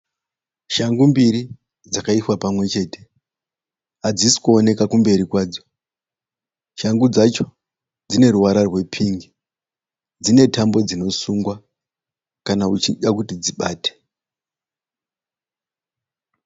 Shangu mbiri dzakaiswa pamwe chete hadzisi kuoneka kumberi kwadzo. Shangu dzacho dzine ruvara rwepingi. Dzine tambo dzinosungwa kana uchida kuti dzibate.